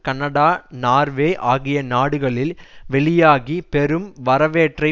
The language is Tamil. கனடா நார்வே ஆகிய நாடுகளில் வெளியாகி பெரும் வரவேற்பை